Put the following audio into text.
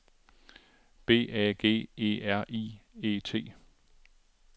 B A G E R I E T